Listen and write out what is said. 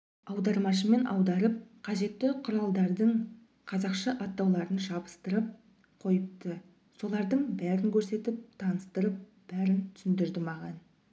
аудармашымен аударып қажетті құралдардың қазақша атауларын жабыстырып қойыпты солардың бәрін көрсетіп таныстырып бәрін түсіндірді маған